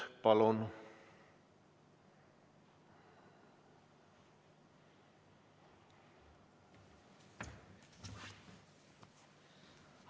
Palun!